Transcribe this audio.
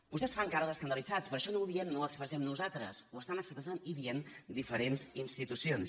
vostès fan cara d’escandalitzats però això no ho diem no ho expressem nosaltres ho estan expressant i dient diferents institucions